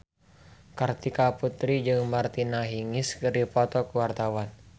Kartika Putri jeung Martina Hingis keur dipoto ku wartawan